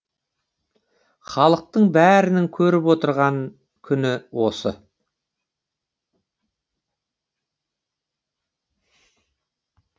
халықтың бәрінің көріп отырған күні осы